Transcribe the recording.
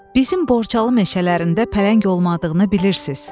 Bizim Borçalı meşələrində pələng olmadığını bilirsiz.